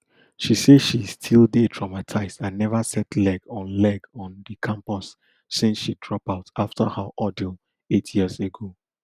she say she still dey traumatised and neva set leg on leg on di campus since she drop out afta her ordeal eight years ago